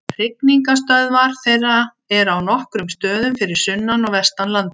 Hrygningarstöðvar þeirra eru á nokkrum stöðum fyrir sunnan og vestan landið.